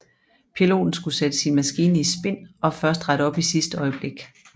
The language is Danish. Piloten skulle sætte sin maskine i spin og først rette op i sidste øjeblik